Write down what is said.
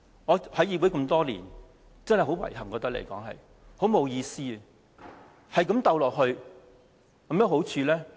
我加入議會多年，真的覺得很遺憾、沒意思，一直鬥爭下去，有甚麼好處？